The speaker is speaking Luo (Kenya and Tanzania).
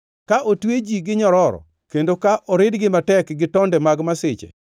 Ka otwe ji gi nyiroro, kendo ka oridgi matek gi tonde mag masiche,